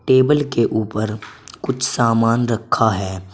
Table के ऊपर कुछ सामान रखा है।